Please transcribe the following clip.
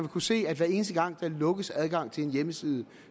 kunne se at hver eneste gang der lukkes for adgang til en hjemmeside